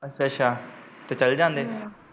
ਅੱਛਾ ਅੱਛਾ ਤੇ ਚੱਲ ਜਾਂਦੇ।